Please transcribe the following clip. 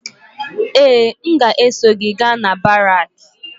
Ee! M ga-eso gị gaa na baraakị.